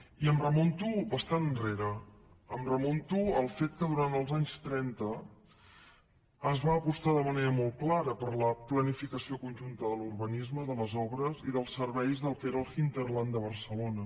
i em remunto bastant enrere em remunto al fet que durant els anys trenta es va apostar de manera molt clara per la planificació conjunta de l’urbanisme de les obres i dels serveis del que era l’hinterland de barcelona